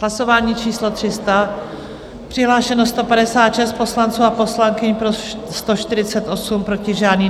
Hlasování číslo 300, přihlášeno 156 poslanců a poslankyň, pro 148, proti žádný.